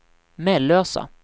Mellösa